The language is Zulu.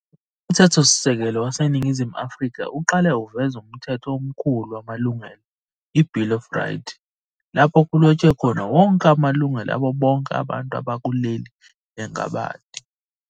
UMthetho Sisekelo waseNingizimu Afrika uqala uveze UMthetho Omkhulu wamaLungelo, i-"Bill of Rights", lapho kulothshwe khona wonke amalungelo abo bonke abantu bakuleli langabadi.